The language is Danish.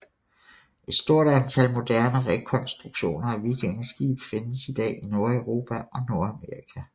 Et stort antal moderne rekonstruktioner af vikingeskibe findes i dag i Nordeuropa og Nordamerika